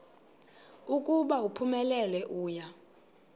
ukuba uphumelele uya